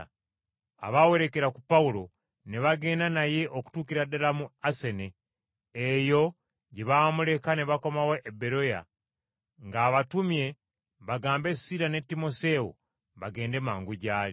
Abaawerekera ku Pawulo ne bagenda naye okutuukira ddala mu Asene, eyo gye baamuleka ne bakomawo e Beroya ng’abatumye bagambe Siira ne Timoseewo bagende mangu gy’ali.